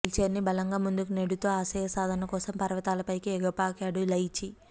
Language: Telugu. వీల్చైర్ని బలంగా ముందుకు నెడుతూ ఆశయసాధన కోసం పర్వతాలపైకి ఎగపాకాడు లైచి